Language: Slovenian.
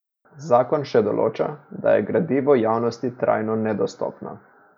Zakon še določa, da je to gradivo javnosti trajno nedostopno.